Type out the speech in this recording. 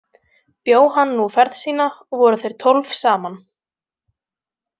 Bjó hann nú ferð sína og voru þeir tólf saman.